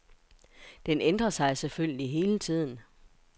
Den ændrer sig selvfølgelig hele tiden.